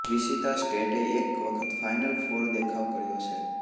Wichita સ્ટેટે એક વખત ફાઇનલ ફોર દેખાવ કર્યો છે